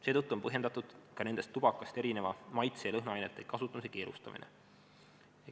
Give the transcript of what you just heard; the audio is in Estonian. Seetõttu on põhjendatud ka nendes tubakast erineva maitse- ja lõhnaainete kasutamise keelustamine.